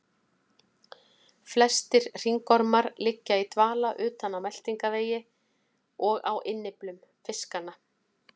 Flestir hringormar liggja í dvala utan á meltingarvegi og á innyflum fiskanna.